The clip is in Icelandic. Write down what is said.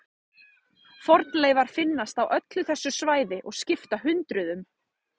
Fornleifar finnast á öllu þessu svæði og skipta hundruðum.